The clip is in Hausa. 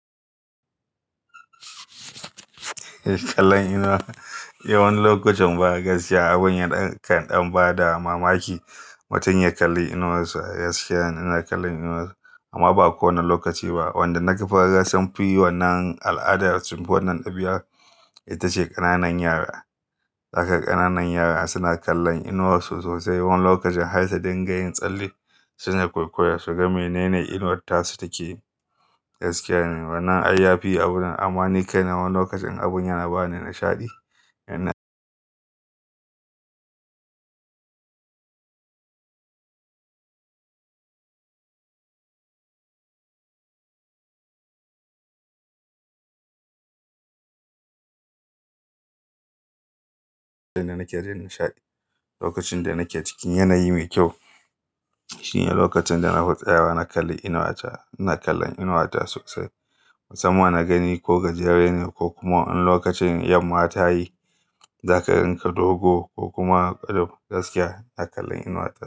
Kallon inuwa,? Eh wani lokacin ba a gaskiya abun ya kan ɗan ba da mamaki. Mutum ya kalli inuwar sa, ya gaskiya ne ina kallon inuwa na sa amma ba kowane lokaci ba. Wanda na ga fa sunfi wannan al'adar sunfi wanan ɗabi'ar ita ce ƙananan yara. Zaka ga ƙananan yara suna kallon inuwar su sosai, wani lokacin har da dingayin tsalle suna kwaikwayon suga menene inuwar tasu take gaskiya ne. Wannan ayyafi abunan amma ni kai na wani lokacin abun yana bani nishaɗi. Yana Lokacin da nake cikin yanayi mai kyau, shi ne lokacin da na fi tsayawa na kalli inuwa ta. Ina kallon inuwa ta sosai, musamman na gani ko gajere ne ko kuma in lokacin yamma ta yi zakayi ka dogo, ko kuma gaskiya ina kallon inuwa ta.